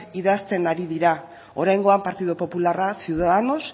idazten ari dira oraingoan partido popularra ciudadanos